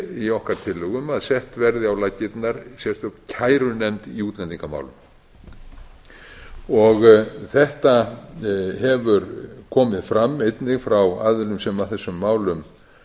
í okkar tillögum að sett verði á laggirnar sérstök kærunefnd í útlendingamálum þetta hefur komið fram einnig frá aðilum sem að þessum málum